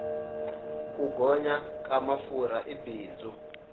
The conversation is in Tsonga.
ku gonya ka mafurha i bindzu